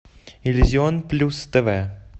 иллюзион плюс тв